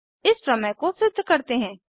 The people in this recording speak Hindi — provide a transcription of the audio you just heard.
एक प्रमेय को सिद्ध करते हैं